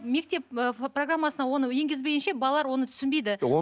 мектеп ы программасына оны енгізбейінше балалар оны түсінбейді